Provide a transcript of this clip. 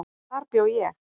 Þar bjó ég.